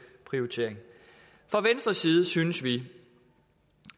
prioritering fra venstres side synes vi